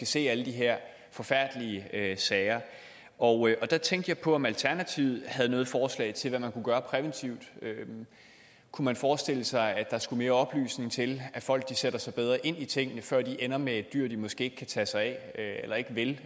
ser alle de her forfærdelige sager og der tænkte jeg på om alternativet har noget forslag til hvad man kunne gøre præventivt kunne man forestille sig at der skulle mere oplysning til at folk sætter sig bedre ind i tingene før de ender med et dyr de måske ikke kan tage sig af eller ikke vil